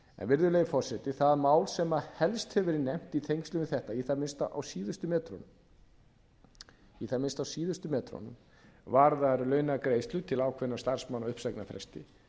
virðulegi forseti það mál sem helst hefur verið nefnt í tengslum við þetta í það minnsta á síðustu metrunum varðar launagreiðslur til ákveðinna starfsmanna á uppsagnarfresti